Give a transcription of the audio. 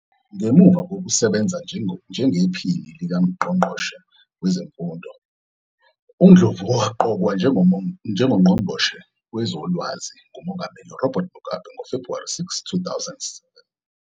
Ngemuva kokusebenza njengePhini likaNgqongqoshe Wezemfundo, uNdlovu waqokwa njengoNgqongqoshe Wezolwazi nguMongameli Robert Mugabe ngoFebhuwari 6, 2007.